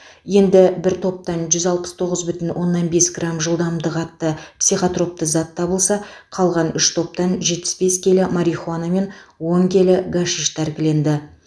енді бір топтан жүз алпыс тоғыз бүтін оннан бес грамм жылдамдық атты психотропты зат табылса қалған үш топтан жетпіс бес келі марихуана мен он келі гашиш тәркіленді